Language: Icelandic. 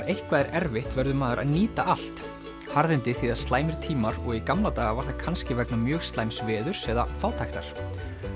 eitthvað er erfitt verður maður að nýta allt harðindi þýða slæmir tímar og í gamla daga var það kannski vegna mjög slæms veðurs eða fátæktar